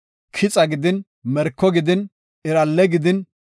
kixa gidin, merko gidin, iralle gidin,